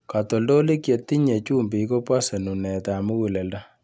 Katoltolik chetinye chumbik kobose nunetab mukuleldo.